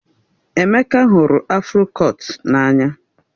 Emeka hụrụ afro kọtụ n'anya